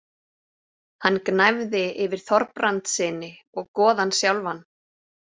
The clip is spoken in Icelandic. Hann gnæfði yfir Þorbrandssyni og goðann sjálfan.